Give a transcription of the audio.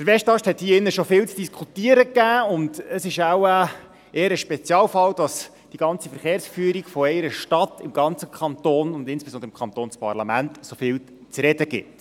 – Der Westast wurde hier drin schon viel diskutiert, und es ist wahrscheinlich eher ein Spezialfall, dass die gesamte Verkehrsführung einer Stadt im ganzen Kanton und insbesondere im Kantonsparlament so viel zu reden gibt.